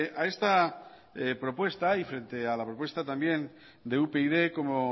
a esta propuesta y frente a la propuesta también de upyd como